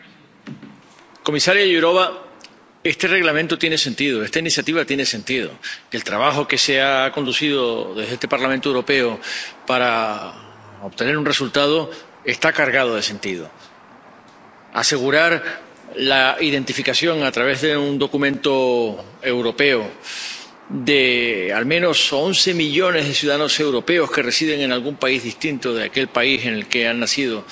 Señor presidente, señora comisaria Jourová, este Reglamento tiene sentido. Esta iniciativa tiene sentido. El trabajo que se ha conducido desde este Parlamento Europeo para obtener un resultado está cargado de sentido. Asegurar la identificación a través de un documento europeo de al menos once millones de ciudadanos europeos que residen en algún país distinto de aquel país en el que han nacido,